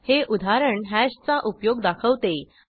हे उदाहरण हॅशचा उपयोग दाखवते